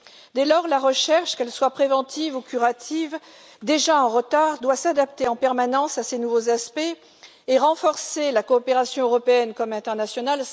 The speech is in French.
Dès lors, la recherche, qu'elle soit préventive ou curative, déjà en retard, doit s'adapter en permanence à ces nouveaux aspects et renforcer la coopération tant européenne qu'internationale.